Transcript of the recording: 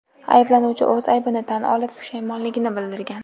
Ayblanuvchi o‘z aybini tan olib, pushaymonligini bildirgan.